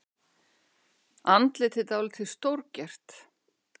Andlitið dálítið stórgert.